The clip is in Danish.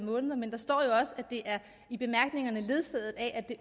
af måneder men der står jo også i bemærkningerne er ledsaget af at